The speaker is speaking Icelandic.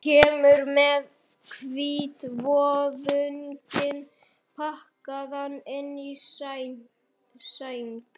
Hún kemur með hvítvoðunginn pakkaðan inn í sæng.